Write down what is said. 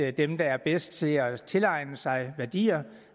at dem der er bedst til at tilegne sig værdier